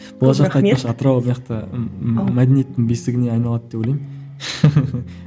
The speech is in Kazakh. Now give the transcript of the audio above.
болашақта атырау мәдениеттің бесігіне айналады деп ойлаймын